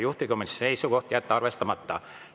Juhtivkomisjoni seisukoht: jätta arvestamata.